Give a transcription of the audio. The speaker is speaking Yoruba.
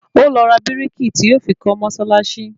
Ó lọ ra bírìkì tí yóò fi kọ́ mọ́sálásí